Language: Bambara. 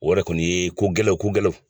o yɛrɛ kɔni ye ko gɛlɛn ko gɛlɛnw